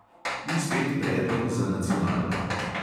In spet predlog za nacionalko.